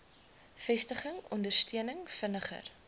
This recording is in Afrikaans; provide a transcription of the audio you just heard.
vestiging ondersteuning vinniger